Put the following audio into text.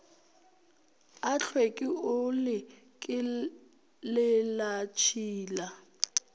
a tlhweki o le kelelatshila